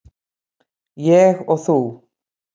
Ég og þú.